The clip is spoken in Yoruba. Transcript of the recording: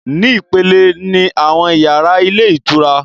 Ni ìpele ni àwọn yàrá ilé ìtura